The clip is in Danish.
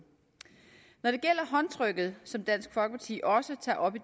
når det gælder håndtrykket som dansk folkeparti også tager op i